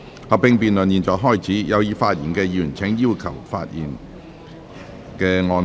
合併辯論現在開始，有意發言的議員請按"要求發言"按鈕。